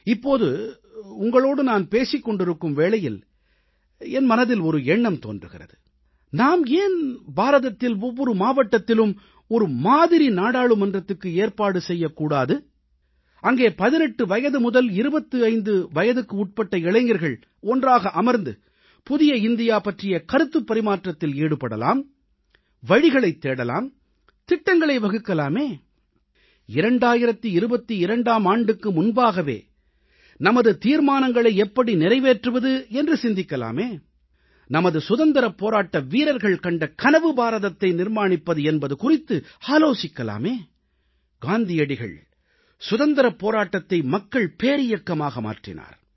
இப்போது உங்களோடு நான் பேசிக் கொண்டிருக்கும் வேளையில் என் மனதில் ஒரு எண்ணம் தோன்றுகிறது நாம் ஏன் பாரதத்தில் ஒவ்வொரு மாவட்டத்திலும் ஒரு மாதிரி நாடாளுமன்றத்துக்கு ஏற்பாடு செய்யக் கூடாது அங்கே 18 வயது முதல் 25 வயதுக்குட்பட்ட இளைஞர்கள் ஒன்றாக அமர்ந்து புதிய இந்தியா பற்றிய கருத்துப் பரிமாற்றத்தில் ஈடுபடலாம் வழிகளைத் தேடலாம் திட்டங்களை வகுக்கலாமே 2022ஆம் ஆண்டுக்கு முன்பாகவே நமது தீர்மானங்களை எப்படி நிறைவேற்றுவது என்று சிந்திக்கலாமே நமது சுதந்திரப் போராட்ட வீரர்கள் கண்ட கனவு பாரதத்தை நிர்மாணிப்பது என்பது குறித்து ஆலோசிக்கலாமே காந்தியடிகள் சுதந்திரப் போராட்டத்தை மக்கள் பேரியக்கமாக மாற்றினார்